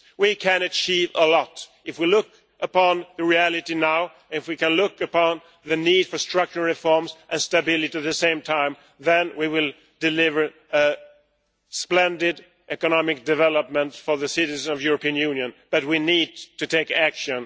We can achieve a lot if we look at the reality now and at the need for structural reforms and stability at the same time, then we will deliver splendid economic development for the citizens of the European Union, but we need to take action.